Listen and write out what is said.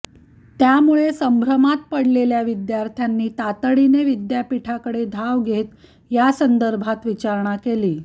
त्यामुळे संभ्रमात पडलेल्या विद्यार्थ्यांनी तातडीने विद्यापीठाकडे धाव घेत यासंदर्भात विचारणा केली